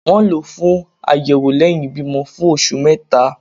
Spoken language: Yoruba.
wón lọ fún ayewo lẹhin ibimọ fún oṣù meta